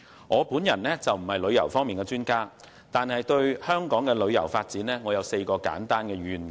我並非旅遊方面的專家，但對香港的旅遊發展有4個簡單願景。